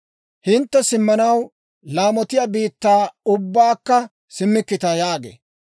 Hintte simmanaw laamotiyaa biittaa ubbakka simmikkita» yaagee.